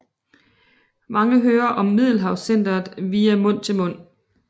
Mange hører om Middelaldercentret via mund til mund